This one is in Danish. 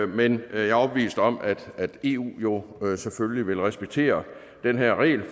men jeg er overbevist om at eu selvfølgelig vil respektere den her regel